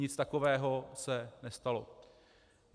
Nic takového se nestalo.